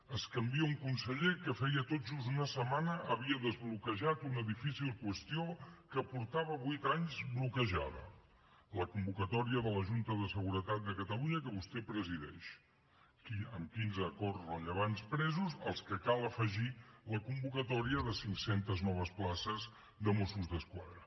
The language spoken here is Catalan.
s’hi canvia un conseller que feia tot just una setmana havia desbloquejat una difícil qüestió que feia vuit anys que estava bloquejada la convocatòria de la junta de seguretat de catalunya que vostè presideix amb quinze acords rellevants presos als que cal afegir la convocatòria de cinc centes noves places de mossos d’esquadra